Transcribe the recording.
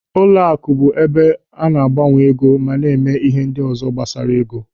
Ụlọaku bụ ebe a na-agbanwe ego ma mee ihe ndị ọzọ gbasara ego.